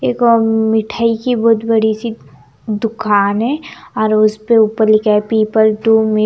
एक अ ममम मिठाई की बहुत बड़ी सी दुकान है और उस पे ऊपर लिखा है पीपल टू में --